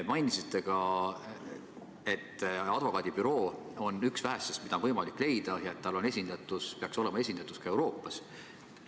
Mainisite ka, et see advokaadibüroo on üks vähestest, mida oli võimalik leida, kuna bürool peaks olema esindatus ka Euroopas.